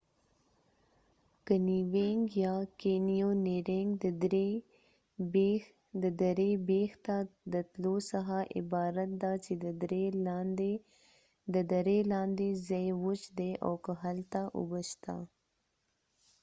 کنیوېنګ یا:کېنیونیرنګ د درې بیخ ته د تلو څخه عبارت ده چې د درې لاندې ځای وچ دي او که هلته اوبه شته